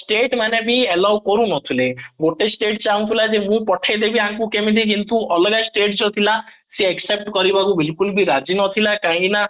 state ମାନେ ବି allow କରୁନଥିଲେ ଗୋଟେ stateଚାହୁଁଥିଲା ଯେ ମୁଁ ପଠେଇଦେବି ୟାଙ୍କୁ କିନ୍ତୁ ଅଲଗା state ର ପିଲା ସେମାନେ except କରିବାକୁ ରାଜି ନଥିଲା କାହିଁକିନା